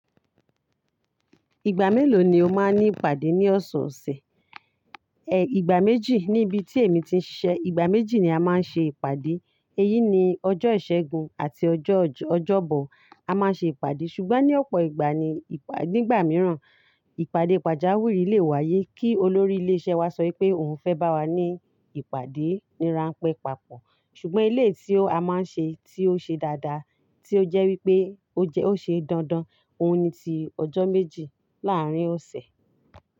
Ìgbà mélòó ni o máa ń ní ìpàdé ní ọ̀sẹ̀ ọ̀sẹ̀? Ẹ̀ ìgbà méjì níbi tí èmi ti ń ṣiṣẹ́. Ìgbà méjì ni a máa ń ṣe ìpàdé. Èyí ni ọjọ́ ìṣẹ́gun àti ọjọ́ ọjọ́bọ̀ a máa ń ṣe ìpàdé. Ṣùgbọ́n ní ọ̀pọ̀ ìgbà ní ìpá-- nígbà mìíràn, ìpàdé pàjáwìrì lè wáyé kí olórí ilé iṣẹ́ wa sọ pé òun fẹ́ bá wa ní ìpàdé níran pẹpapọ̀. Ṣùgbọ́n eleyii tí a máa ń ṣe tí ó ṣe dáadáa, tí ó jẹ́ wípé ó jẹ-- ó ṣe dandan, òun ni ti ọjọ́ méjì láàárín ọ̀sẹ̀.